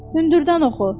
Hündürdən oxu.